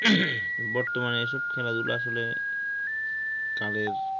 বর্তমানে এসব খেলাধুলা আসলে কালের